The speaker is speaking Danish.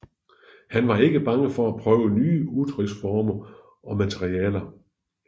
Han var ikke bange for at prøve nye udtryksformer og materialer